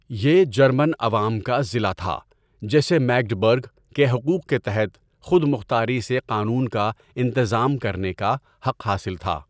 یہ جرمن عوام کا ضلع تھا، جسے میگڈبرگ کے حقوق کے تحت خود مختاری سے قانون کا انتظام کرنے کا حق حاصل تھا۔